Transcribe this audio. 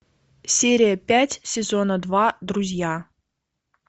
серия пять сезона два друзья